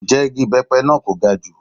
Ǹjẹ́ igi ibepe náà kò ga jù?